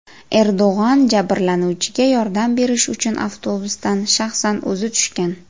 Erdo‘g‘on jabrlanuvchiga yordam berish uchun avtobusdan shaxsan o‘zi tushgan.